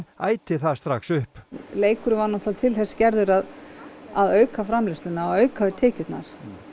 æti það strax upp leikurinn var náttúrulega til þess gerður aða auka framleiðsluna og auka við tekjurnar